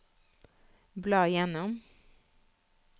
bla gjennom